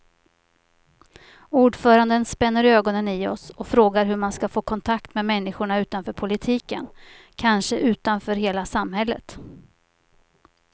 Ordföranden spänner ögonen i oss och frågar hur man ska få kontakt med människorna utanför politiken, kanske utanför hela samhället.